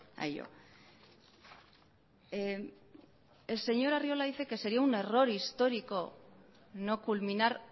a ello el señor arriola dice que sería un error histórico no culminar